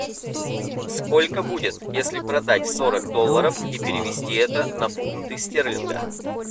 сколько будет если продать сорок долларов и перевести это на фунты стерлинга